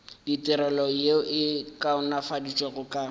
ditirelo yeo e kaonafaditšwego ka